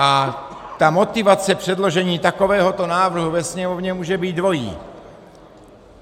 A ta motivace předložení takovéhoto návrhu ve Sněmovně může být dvojí.